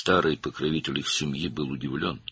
Ailələrinin köhnə himayədarı təəccübləndi.